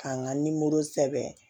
K'an ka nimoro sɛbɛn